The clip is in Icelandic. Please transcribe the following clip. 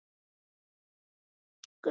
Egill kom um daginn og nennti ekkert að stoppa.